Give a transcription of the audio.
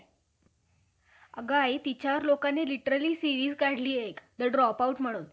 ब्राम्हणाच्या नावाने अत्यानंत्यात कुरकुरनाऱ्या लागेल. लागले आहे. हे आम्हाला ठाऊक नाही. म,